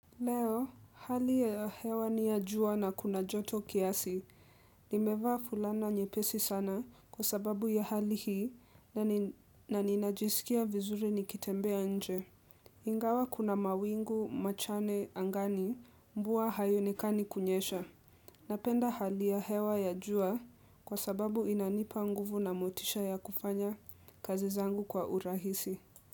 Leo, hali ya hewa ni ya jua na kuna joto kiasi, nimevaa fulana nyepesi sana kwa sababu ya hali hii na ninajiskia vizuri nikitembea nje. Ingawa kuna mawingu, machane angani, mvua haionekani kunyesha. Napenda hali ya hewa ya jua kwa sababu inanipa nguvu na motisha ya kufanya kazi zangu kwa urahisi.